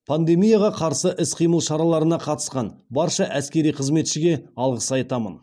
пандемияға қарсы іс қимыл шараларына қатысқан барша әскери қызметшіге алғыс айтамын